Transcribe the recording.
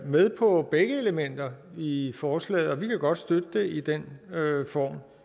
med på begge elementer i forslaget vi kan godt støtte det i den form